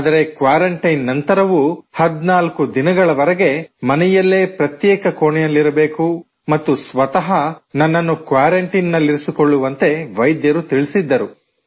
ಆದರೆ ಕ್ವಾರಂಟೈನ್ ನಂತರವೂ 14 ದಿನಗಳವರೆಗೆ ಮನೆಯಲ್ಲೇ ಪ್ರತ್ಯೇಕ ಕೋಣೆಯಲ್ಲಿರಬೇಕು ಮತ್ತು ಸ್ವತಃ ನನ್ನನ್ನು ಕ್ವಾರಂಟೈನ್ ನಲ್ಲಿರಿಸಿಕೊಳ್ಳುವಂತೆ ವೈದ್ಯರು ತಿಳಿಸಿದ್ದರು